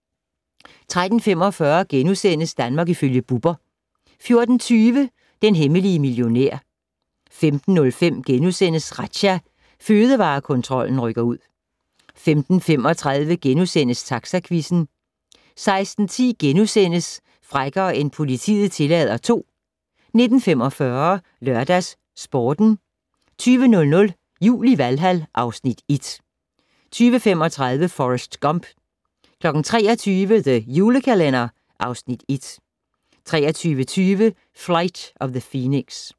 13:45: Danmark ifølge Bubber * 14:20: Den hemmelige millionær 15:05: Razzia - Fødevarekontrollen rykker ud * 15:35: Taxaquizzen * 16:10: Frækkere end politiet tillader 2 * 19:45: LørdagsSporten 20:00: Jul i Valhal (Afs. 1) 20:35: Forrest Gump 23:00: The Julekalender (Afs. 1) 23:20: Flight of the Phoenix